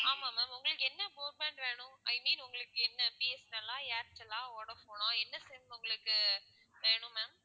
ஆமா ma'am உங்களுக்கு என்ன broadband வேணும் i mean உங்களுக்கு என்ன பி. எஸ். என். எல் ஆ, ஏர்டெல்லா, வோடாஃபோனா என்ன sim உங்களுக்கு வேணும் ma'am